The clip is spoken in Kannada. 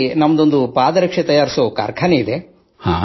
ನಾವು ಇಲ್ಲಿ ಪಾದರಕ್ಷೆಗಳನ್ನು ತಯಾರಿಸುವ ಕಾರ್ಖಾನೆ ಹೊಂದಿದ್ದೇವೆ